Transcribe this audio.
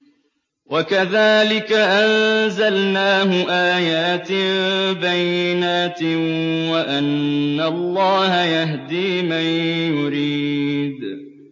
وَكَذَٰلِكَ أَنزَلْنَاهُ آيَاتٍ بَيِّنَاتٍ وَأَنَّ اللَّهَ يَهْدِي مَن يُرِيدُ